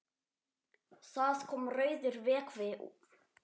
Það kom rauður vökvi út.